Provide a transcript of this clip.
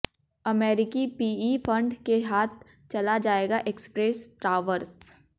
अमेरिकी PE fund के हाथ चला जाएगा एक्सप्रेस टावर्स